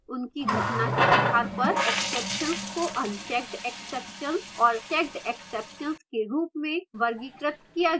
उनकी घटना के आधार पर exceptions को unchecked exceptions और checked exceptions के रूप में वर्गीकृत किया गया है